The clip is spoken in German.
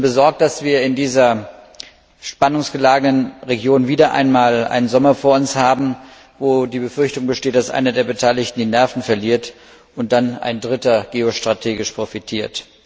Ich bin besorgt, dass wir in dieser spannungsgeladenen Region wieder einmal einen Sommer vor uns haben, in dem die Befürchtung besteht, dass einer der Beteiligten die Nerven verliert und dann ein Dritter geostrategisch profitiert.